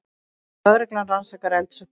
Lögreglan rannsakar eldsupptök